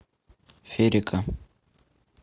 ферика